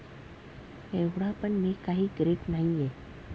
एव्हडा पण मी काही ग्रेट नाहिये.